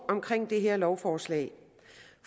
omkring det her lovforslag